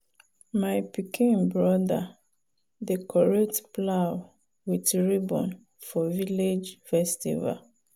my pikin brother decorate plow with ribbon for village festival.